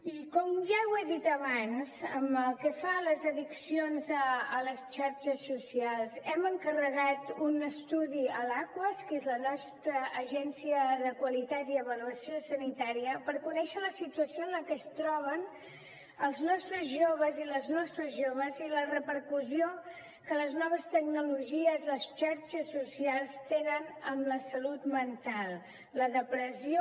i com ja he dit abans pel que fa a les addiccions a les xarxes socials hem encarregat un estudi a l’aquas que és la nostra agència de qualitat i avaluació sanitàries per conèixer la situació en la que es troben els nostres joves i les nostres joves i la repercussió que les noves tecnologies les xarxes socials tenen en la salut mental la depressió